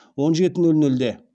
он жеті нөл нөлде